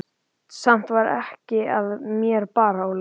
Samt var ekkert að mér, bara Óla.